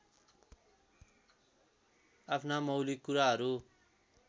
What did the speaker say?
आफ्ना मौलिक कुराहरू